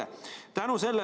Mis on jutu mõte?